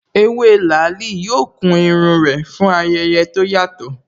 Ewé làálí yóò kun irun rẹ̀ fún ayẹyẹ tó yàtọ̀